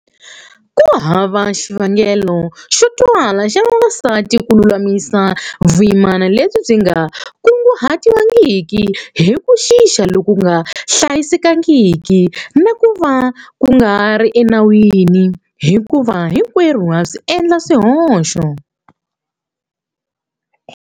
Ku hava xivangelo xo twala xa vavasati ku lulamisa vuyimana lebyi byi nga kunguhatiwangiki hi ku xixa loku nga hlayisekangiki na ku va ku nga ri enawini hikuva hinkwerhu ha endla swihoxo.